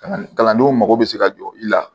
Kalan kalandenw mago bɛ se ka jɔ i la